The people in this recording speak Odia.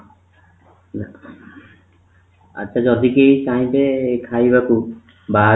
ଆଚ୍ଛା, ଯଦି କିଏ ଚାହିଁବେ ଖାଇବାକୁ ବାହାରୁ